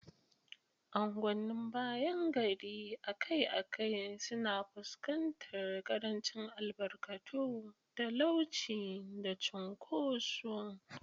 Angwanin bayan gari akai-akai suna fuskantar ƙarancin albarkatu, talauci, da cunkoso.